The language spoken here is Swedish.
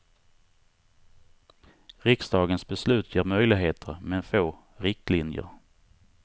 Riksdagens beslut ger möjligheter men få riktlinjer.